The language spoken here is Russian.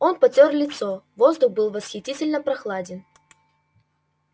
он потёр лицо воздух был восхитительно прохладен